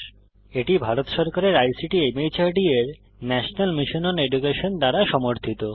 এটি ভারত সরকারের আইসিটি মাহর্দ এর ন্যাশনাল মিশন ওন এডুকেশন দ্বারা সমর্থিত